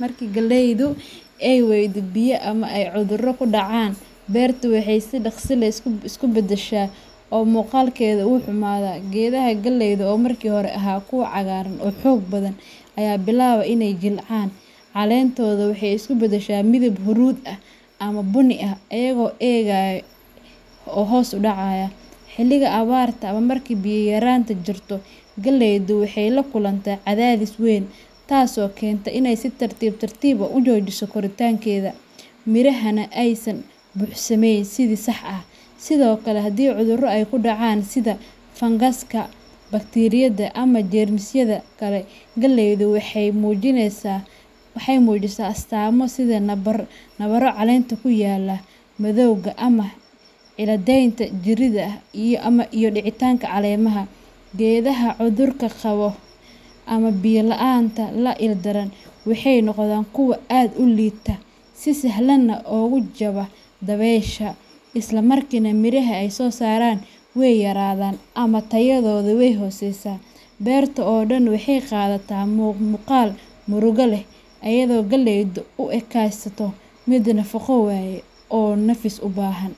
Marka galleyda ay waaydo biyo ama ay cudurro ku dhacaan, beertu waxay si dhaqso leh isu bedeshaa oo muuqaalkeedu wuu xumaadaa. Geedaha galleyda oo markii hore ahaa kuwo cagaaran oo xoog badan ayaa bilaaba inay jilcaan, caleentooda waxay isu bedeshaa midab huruud ah ama bunni ah, iyagoo engega oo hoos u dhacaya. Xilliga abaarta ama marka biyo yaraanta jirto, galleyda waxay la kulantaa cadaadis weyn, taasoo keenta in ay si tartiib tartiib ah u joojiso koritaankeeda, mirahana aysan buuxsamayn si sax ah. Sidoo kale, haddii cudurro ay ku dhacaan sida fangaska, bakteeriyada, ama jeermisyo kale, galleyda waxay muujisaa astaamo sida nabaro caleenta ku yaalla, madowga ama cilladeynta jirida, iyo dhacitaanka caleemaha. Geedaha cudurka qaba ama biyo la'aanta la ildaran waxay noqdaan kuwo aad u liita, si sahal ahna ugu jaba dabaysha, isla markaana miraha ay soo saaraan way yaraadaan ama tayadooda way hooseysaa. Beerta oo dhan waxay qaadataa muuqaal murugo leh, iyadoo galleydu u ekaysato mid nafaqo waayay oo nafis u baahan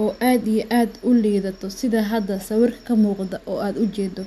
oo aad iyo aad u lidato sidha hada sawirka ka muqato oo aad u jedo.